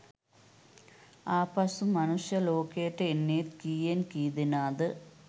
ආපසු මනුෂ්‍යය ලෝකෙට එන්නෙ කීයෙන් කීදෙනාද?